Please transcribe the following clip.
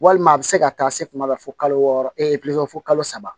Walima a bɛ se ka taa se kuma la fo kalo wɔɔrɔ fo kalo saba